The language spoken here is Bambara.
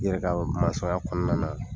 I yɛrɛ k'a masɔnya kɔnɔna na